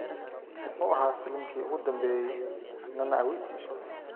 muxuu ahaa filimki ugu dambeeyay nana awiti